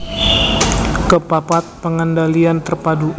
Kepapat pengendalian terpadu